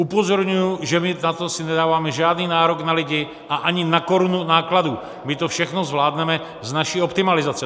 Upozorňuji, že my na to si nedáváme žádný nárok na lidi a ani na korunu nákladů, my to všechno zvládneme z naší optimalizace.